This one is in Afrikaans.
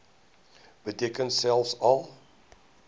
beteken selfs al